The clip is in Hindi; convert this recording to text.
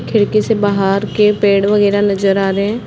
खिड़की से बाहर के पेड़ वगैरा नज़र आ रहे हैं।